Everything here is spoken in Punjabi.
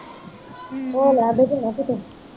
ਹੋ ਲੇਆ ਦਿੱਖ ਰੇਹਾ ਕਿਤੇ